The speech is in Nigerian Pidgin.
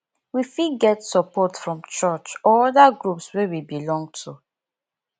we fit get support from church or oda groups wey we belong to